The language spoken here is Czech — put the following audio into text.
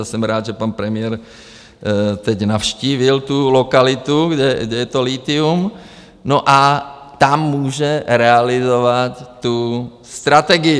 A jsem rád, že pan premiér teď navštívil tu lokalitu, kde je to lithium, no, a tam může realizovat tu strategii.